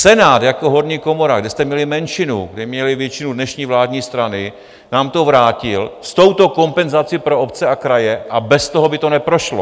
Senát jako horní komora, kde jste měli menšinu, kde měly většinu dnešní vládní strany, nám to vrátil s touto kompenzací pro obce a kraje a bez toho by to neprošlo.